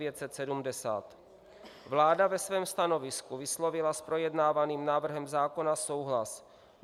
Vláda ve svém stanovisku vyslovila s projednávaným návrhem zákona souhlas.